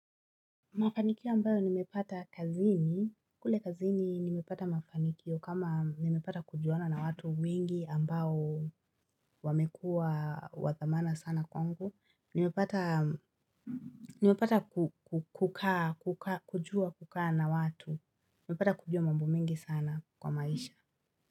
Mafanikio ambayo nimepata kazini, kule kazini nimepata mafanikio kama nimepata kujuana na watu wengi ambao wamekua wathamana sana kwangu nimepata, nimepata kukaa, kujua kukaa na watu, nimepata kujua mambo mingi sana kwa maisha.